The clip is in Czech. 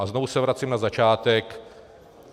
A znovu se vracím na začátek.